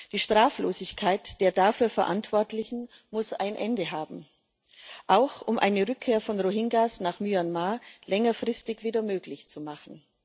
Die Straflosigkeit der dafür Verantwortlichen muss ein Ende haben, auch um eine Rückkehr der Rohingya nach Myanmar längerfristig wieder möglich zu machen.